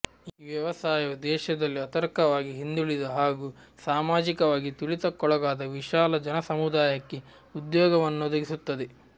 ಈ ವ್ಯವಸಾಯವು ದೇಶದಲ್ಲಿ ಆಥರ್ಿಕವಾಗಿ ಹಿಂದುಳಿದ ಹಾಗೂ ಸಾಮಾಜಿಕವಾಗಿ ತುಳಿತಕ್ಕೊಳಗಾದ ವಿಶಾಲ ಜನ ಸಮುದಾಯಕ್ಕೆ ಉದ್ಯೋಗವನ್ನೊದಗಿಸುತ್ತದೆ